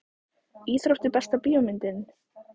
íþróttir Besta bíómyndin?